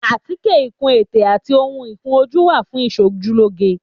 Àtíkè, ìkun ètè àti ohun ìkun ojú wà fún ìsojú lóge.